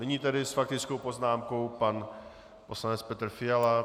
Nyní tedy s faktickou poznámkou pan poslanec Petr Fiala.